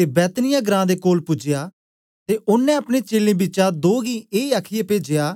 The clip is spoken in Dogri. ते बैतनिय्याह ग्रां दे कोल पूजया ते ओनें अपने चेलें बिचा दो गी ए आखीयै पेजया